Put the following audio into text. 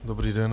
Dobrý den.